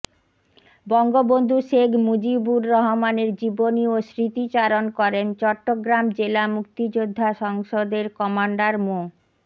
বঙ্গবন্ধু শেখ মুজিবুর রহমানের জীবনী ও স্মৃতিচারণ করেন চট্টগ্রাম জেলা মুক্তিযোদ্ধা সংসদের কমান্ডার মো